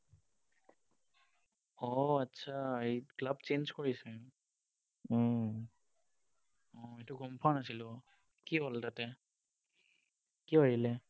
অ, আচ্ছা, এই club change কৰিছে? অ, এইটো গম পোৱা নাছিলো। কি হল তাতে? কিয় এৰিলে?